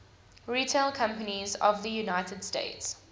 retail companies of the united states